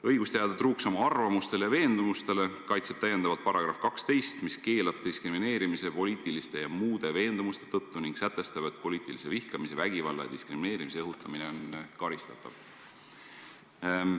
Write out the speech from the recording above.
Õigust jääda truuks oma arvamustele ja veendumustele kaitseb täiendavalt § 12, mis keelab diskrimineerimise poliitiliste ja muude veendumuste tõttu ning sätestab, et poliitilise vihkamise, vägivalla ja diskrimineerimise õhutamine on karistatav.